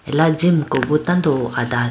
ala jimuko bhi tando adane.